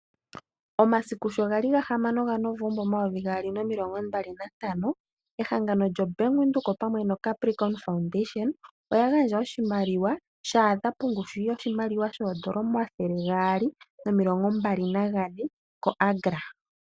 Omasiku sho ga li 6 Novemba 2025 ehangano lyoBank Windhoek opamwe noCapricorn Foundation oya gandja oshimaliwa sha thika pongushu yooN$ 224 000 koAgra.